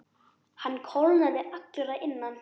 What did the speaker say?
Hann kólnaði allur að innan.